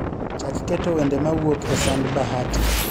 Chak keto wende mawuok e sand Bahati